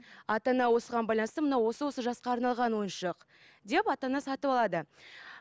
ата ана осыған байланысты мынау осы осы жасқа арналған ойыншық деп ата ана сатып алады